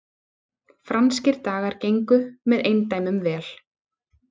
Franskir dagar gengu með eindæmum vel